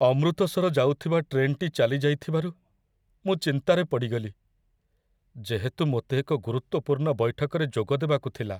ଅମୃତସର ଯାଉଥିବା ଟ୍ରେନ୍‌ଟି ଚାଲିଯାଇଥିବାରୁ ମୁଁ ଚିନ୍ତାରେ ପଡ଼ିଗଲି, ଯେହେତୁ ମୋତେ ଏକ ଗୁରୁତ୍ୱପୂର୍ଣ୍ଣ ବୈଠକରେ ଯୋଗଦେବାକୁ ଥିଲା।